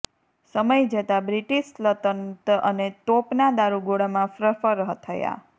સમય જતાં બ્રિટિશ સલ્તનત અને તોપના દારૂગોળામાં ફ્રફર થયા